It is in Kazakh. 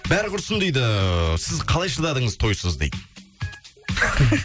бәрі құрсын дейді сіз қалай шыдадыңыз тойсыз дейді